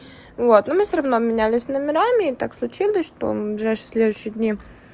вот ну мы всё равно обменялись номерами и так случилось что ближайшие следующие дни